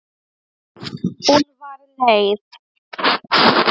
Hún var leið.